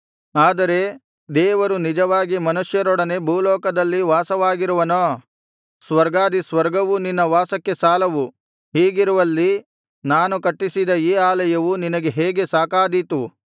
ಆದರೆ ದೇವರು ನಿಜವಾಗಿ ಮನಷ್ಯರೊಡನೆ ಭೂಲೋಕದಲ್ಲಿ ವಾಸವಾಗಿರುವನೋ ಸ್ವರ್ಗವೂ ಸ್ವರ್ಗಾಧಿ ಸ್ವರ್ಗವೂ ನಿನ್ನ ವಾಸಕ್ಕೆ ಸಾಲವು ಹೀಗಿರುವಲ್ಲಿ ನಾನು ಕಟ್ಟಿಸಿದ ಈ ಆಲಯವು ನಿನಗೆ ಹೇಗೆ ಸಾಕಾದೀತು